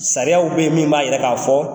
Sariyaw ne yen min b'a yira ka fɔ